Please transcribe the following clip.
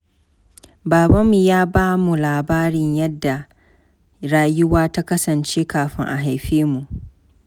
Babanmu ya ba mu labarin yadda rayuwa ta kasance kafin a haife mu.